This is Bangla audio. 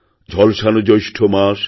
ঝলসানো জ্যৈষ্ঠ মাস